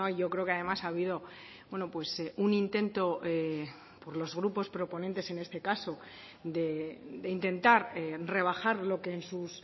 yo creo que además ha habido un intento por los grupos proponentes en este caso de intentar rebajar lo que en sus